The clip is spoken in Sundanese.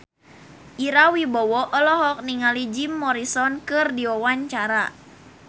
Ira Wibowo olohok ningali Jim Morrison keur diwawancara